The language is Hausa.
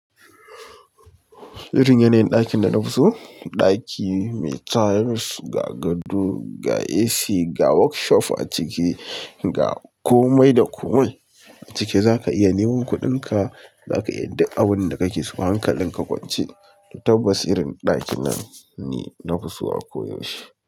Gwajin yanayin dakin da nafi so, daki ne mai tile ga gado ga ac ga workshop aciki ga komai da komai aciki. Zaka iya neman kuɗinka, zaka iya yin duk abinda kake so. Hankalin ka kwance, tabbas irin ɗakin nan ni na fiso a ko yaushe.